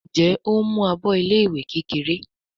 Njé o ń mú àbọ ilé ìwé kékeré?